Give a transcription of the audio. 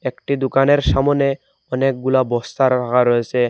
একটি দোকানের সামোনে অনেকগুলা বস্তা রাখা রয়েসে।